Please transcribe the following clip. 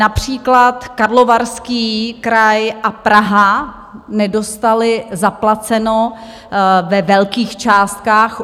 Například Karlovarský kraj a Praha nedostaly zaplaceno ve velkých částkách.